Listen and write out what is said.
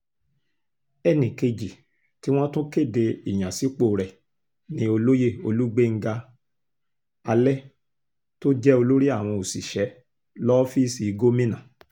ẹnì kejì tí wọ́n tún kéde ìyànsípò rẹ̀ ni olóyè olùgbéńga alẹ́ tó jẹ́ olórí àwọn òṣìṣẹ́ lọ́fíìsì gómìnà